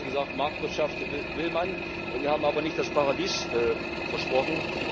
Also wir haben zwar gesagt, Marktwirtschaft will man, wir haben aber nicht das Paradies versprochen.